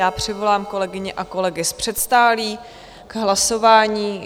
Já přivolám kolegyně a kolegy z předsálí k hlasování.